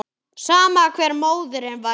Sama hver móðirin væri.